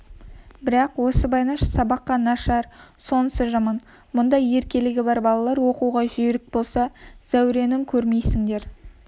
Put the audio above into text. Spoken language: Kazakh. бірақ осы байнаш сабаққа нашар сонысы жаман мұндай еркелігі бар балалар оқуға жүйрік болса зәурені көрмейсіңдер